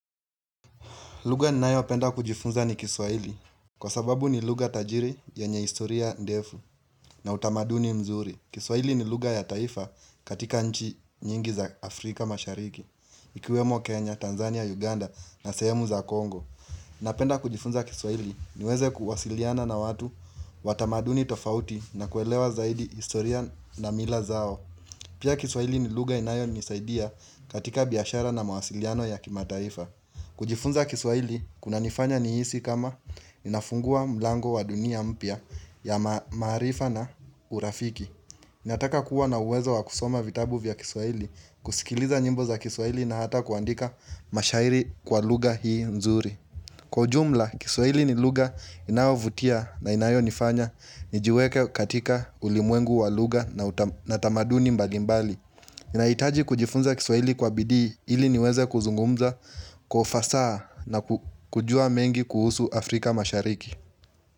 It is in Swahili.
Lugha ninayopenda kujifunza ni kiswaili kwa sababu ni lugha tajiri yenye historia ndefu na utamaduni mzuri. Kiswahili ni lugha ya taifa katika nchi nyingi za Afrika mashariki, ikiwemo Kenya, Tanzania, Uganda na sehemu za Kongo. Napenda kujifunza kiswahili niweze kuwasiliana na watu wa tamaduni tofauti na kuelewa zaidi historia na mila zao. Pia kiswahili ni lugha inayo nisaidia katika biashara na mawasiliano ya kimataifa. Kujifunza kiswahili kunanifanya nihisi kama inafungua mlango wa dunia mpya ya maarifa na urafiki inataka kuwa na uwezo wa kusoma vitabu vya kiswaili kusikiliza nyimbo za kiswahili na hata kuandika mashairi kwa lugha hii nzuri. Kwa ujumla kiswahili ni lugha inayovutia na inayo nifanya nijiweke katika ulimwengu wa lugha na tamaduni mbalimbali nahitaji kujifunza kiswahili kwa bidii ili niweze kuzungumza kwa ufasaha na kujua mengi kuhusu Afrika mashariki.